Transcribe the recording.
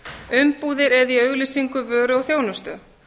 umbúðir eða í auglýsingu vöru og þjónustu